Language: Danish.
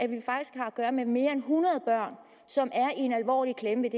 gøre med mere end hundrede børn som er i en alvorlig klemme